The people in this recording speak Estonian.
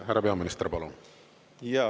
Härra peaminister, palun!